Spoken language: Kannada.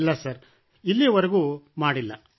ಇಲ್ಲ ಸರ್ ಇಲ್ಲಿಯವರೆಗೂ ಮಾಡಿಲ್ಲ